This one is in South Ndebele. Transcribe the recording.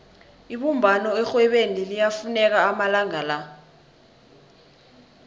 ibumbano erhwebeni liyafuneka amalanga la